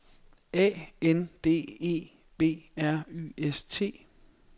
A N D E B R Y S T